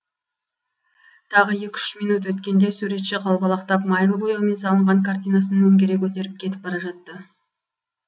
тағы екі үш минөт өткенде суретші қалбалақтап майлы бояумен салынған картинасын өңгере көтеріп кетіп бара жатты